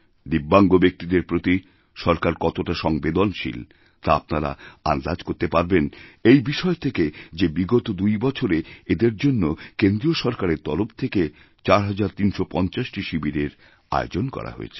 দিব্যাঙ্গ ব্যক্তিদেরপ্রতি সরকার কতটা সংবেদনশীল তা আপনারা আন্দাজ করতে পারবেন এই বিষয় থেকে যে বিগতদুই বছরে এদের জন্য কেন্দ্রীয় সরকারের তরফ থেকে ৪৩৫০ টি শিবিরের আয়োজন করা হয়েছে